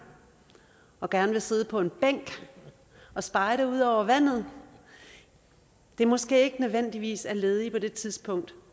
og gerne vil sidde på en bænk og spejde ud over vandet måske ikke nødvendigvis er ledigt på det tidspunkt